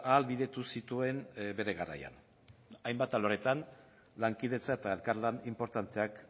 ahalbidetu zituen bere garaian hainbat alorretan lankidetza eta elkarlan inportanteak